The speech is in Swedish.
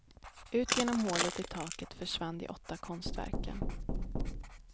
Ut genom hålet i taket försvann de åtta konstverken.